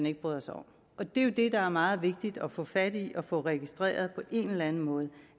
ikke bryder sig om det er jo det der er meget vigtigt at få fat i at få registreret på en eller anden måde